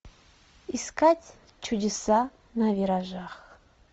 искать чудеса на виражах